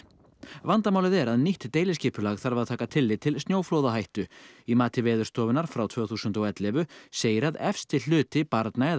vandamálið er að nýtt deiliskipulag þarf að taka tilliti til snjóflóðahættu í mati Veðurstofunnar frá tvö þúsund og ellefu segir að efsti hluti barna eða